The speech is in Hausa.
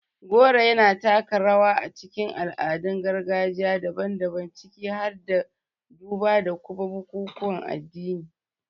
Goro yana taka rawa a cikin al'adun gargajiya daban-daban, ciki har da duba da kuma bukukuwan addini.